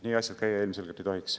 Nii asjad ilmselgelt käia ei tohiks.